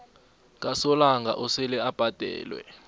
kasolanga osele ubhadelwe